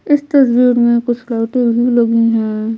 इस तस्वीर में कुछ लाइटें भी लगी हैं।